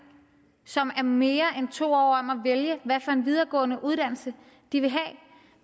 som er mere end to år om at vælge hvad for en videregående uddannelse de vil have